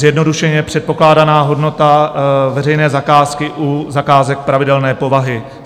Zjednodušeně: předpokládaná hodnota veřejné zakázky u zakázek pravidelné povahy.